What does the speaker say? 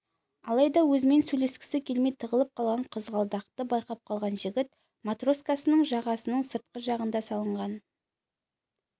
алайда өзімен сөйлескісі келмей тығылып қалған қызғалдақты байқап қалған жігіт матроскасының жағасының сыртқы жағында салынған